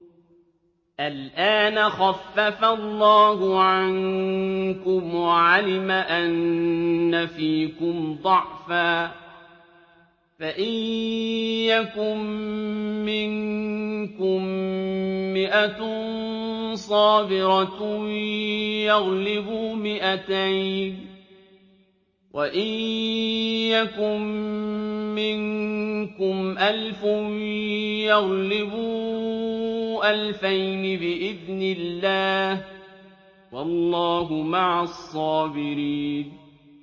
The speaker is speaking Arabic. الْآنَ خَفَّفَ اللَّهُ عَنكُمْ وَعَلِمَ أَنَّ فِيكُمْ ضَعْفًا ۚ فَإِن يَكُن مِّنكُم مِّائَةٌ صَابِرَةٌ يَغْلِبُوا مِائَتَيْنِ ۚ وَإِن يَكُن مِّنكُمْ أَلْفٌ يَغْلِبُوا أَلْفَيْنِ بِإِذْنِ اللَّهِ ۗ وَاللَّهُ مَعَ الصَّابِرِينَ